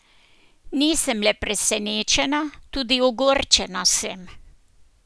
Nisem le presenečena, tudi ogorčena sem.